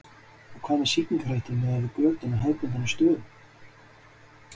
En hvað með sýkingarhættu miðað við götun á hefðbundnari stöðum?